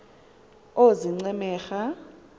oozincemera